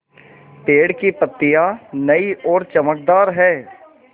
पेड़ की पतियां नई और चमकदार हैँ